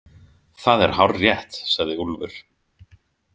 Það er hárrétt, sagði Úlfur.